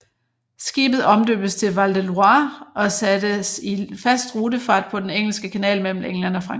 Skibet omdøbtes til Val de Loire og sattes i fast rutefart på Den engelske Kanal mellem England og Frankrig